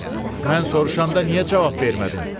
Mən soruşanda niyə cavab vermədin?